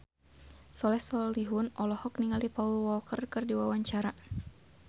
Soleh Solihun olohok ningali Paul Walker keur diwawancara